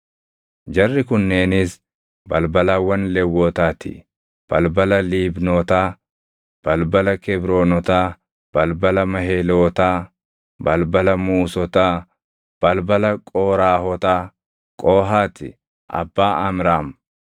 Jarri kunneenis balbalawwan Lewwotaa ti: balbala Liibnotaa, balbala Kebroonotaa, balbala Mahelootaa, balbala Muusotaa, balbala Qooraahotaa. Qohaati abbaa Amraam;